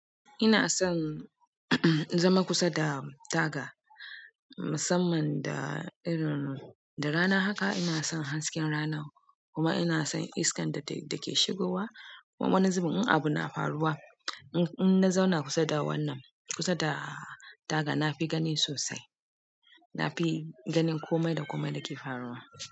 Ina son zama kusa da taga, musamman da irin-- da rana. Haka ina son hasken rana kuma ina son iskan da take shigowa. Kuma wani zubin abu na faruwa, in, in na zauna kusa da wannan, kusa da taga, na fi gani sosai. Nafi ganin komai da komai da ke faruwa.